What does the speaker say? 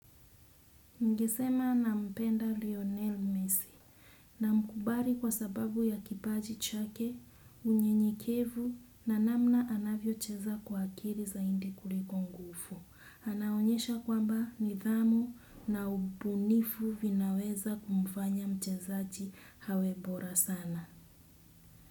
Nigesema nampenda Lionel Messi. Na mkubari kwa sababu ya kipaji chake, unyenyekevu na namna anavyocheza kwa akiri zaindi kulikongufu. Anaonyesha kwamba, nithamu na ubunifu, vinaweza kumfanya mchezaji hawebora sana.